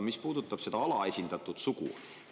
See puudutas alaesindatud sugu.